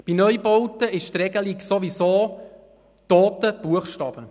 Bei Neubauten ist die Regelung sowieso toter Buchstabe.